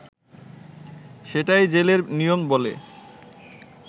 সেটাই জেলের নিয়ম” বলে